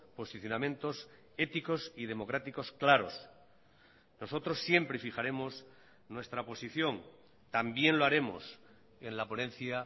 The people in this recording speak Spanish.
posicionamientos éticos y democráticos claros nosotros siempre fijaremos nuestra posición también lo haremos en la ponencia